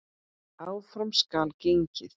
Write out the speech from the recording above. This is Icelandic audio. Áfram skal gengið.